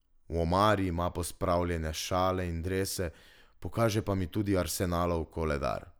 V omari ima pospravljene šale in drese, pokaže pa mi tudi Arsenalov koledar.